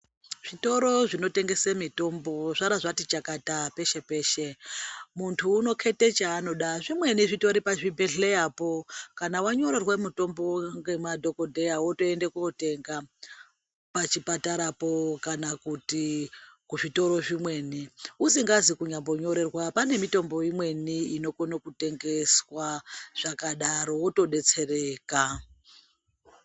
Zvitoro zvinotengesa mitombo zvara zvati chakata peshe-peshe, muntu unoketa chaanoda, zvimweni zvitori pazvibhedhleyapo, kana wanyorerwa mitombo ngemadhokodheya wotondoenda kotenga pachipatarapo kana kuti kuzvitoro zvimweni, usingazi kunyambonyorerwa, pane mitombo imweni inokona kutengeswa zvakadaro, wotodetsereka.